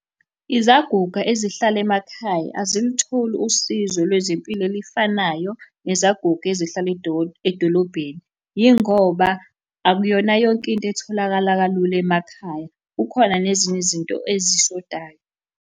Izaguga ezihlala emakhaya, azilutholi usizo lwezempilo elifanayo nezaguga ezihlala edolobheni, yingoba akuyona yonke into etholakala kalula emakhaya, kukhona nezinye izinto ezishodayo.